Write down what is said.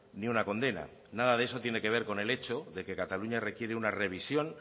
ni una condena nada de eso tiene que ver con el hecho de que cataluña requiere una revisión